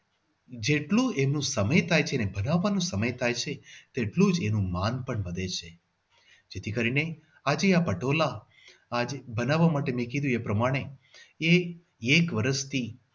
જેટલું એનું સમય થાય છે એનું બનાવવામાં સમય થાય છે તેટલું જ તેનું માન પણ વધે છે. જેથી કરીને આજે આ પટોળા આજે બનાવવા માટે મેં જેમ કીધું એ પ્રમાણે એ એક વર્ષથી